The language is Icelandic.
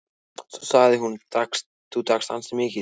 Svo sagði hún:-Þú drakkst ansi mikið.